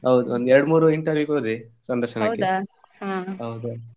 ಹೌದು ಒಂದ್ ಎರಡು ಮೂರು interview ಗೆ ಹೋದೆ ಸಂದರ್ಶನಕ್ಕೆ ಹೌದು.